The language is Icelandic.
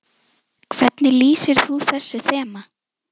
Hvernig lýsir þú þessu þema?